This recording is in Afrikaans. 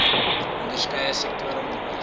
onderskeie sektor onderwys